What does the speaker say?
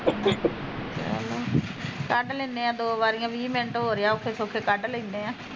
ਚਲੋ ਕੱਢ ਲੈਣੇ ਐ ਦੋ ਵਾਰੀਆ ਵੀਹ ਮਿੰਟ ਹੋਰ ਆ ਔਖੇ ਸੋਖੇ ਕੱਢ ਲੈਣੇ ਆ